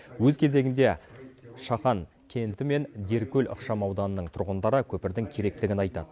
өз кезегінде шаған кенті мен деркөл ықшамауданының тұрғындары көпірдің керектігін айтады